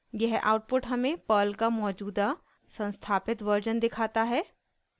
यह आउटपुट हमें पर्ल का मौजूदा संस्थापित वर्जन दिखाता है